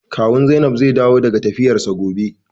Kawun Zainab zai dawo daga tafiyarsa gobe.